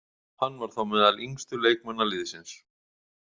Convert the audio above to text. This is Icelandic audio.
Hann var þá meðal yngstu leikmanna liðsins.